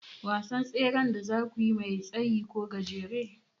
Wasan tseren da zakuyi mai tsayi ko gajere?